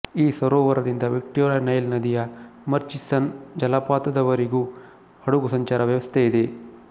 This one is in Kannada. ಈ ಸರೋವರದಿಂದ ವಿಕ್ಟೋರಿಯ ನೈಲ್ ನದಿಯ ಮರ್ಚಿಸನ್ ಜಲಪಾತದವರೆಗೂ ಹಡಗು ಸಂಚಾರ ವ್ಯವಸ್ಥೆಯಿದೆ